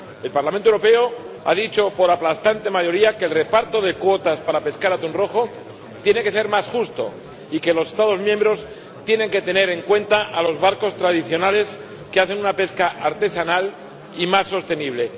El Parlamento Europeo ha dicho, por aplastante mayoría, que el reparto de cuotas para pescar atún rojo tiene que ser más justo y que los Estados miembros tienen que tener en cuenta a los barcos tradicionales que hacen una pesca artesanal y más sostenible.